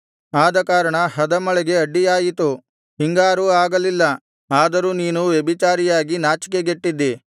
ಆದಕಾರಣ ಹದಮಳೆಗೆ ಅಡ್ಡಿಯಾಯಿತು ಹಿಂಗಾರೂ ಆಗಲಿಲ್ಲ ಆದರೂ ನೀನು ವ್ಯಭಿಚಾರಿಯಾಗಿ ನಾಚಿಕೆಗೆಟ್ಟಿದ್ದಿ